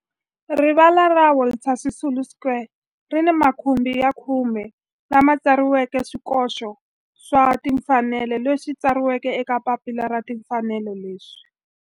Rivala ra Walter Sisulu Square ri ni makhumbi ya khume lawa ma tsariweke swikoxo swa timfanelo leswi tsariweke eka papila ra timfanelo leswi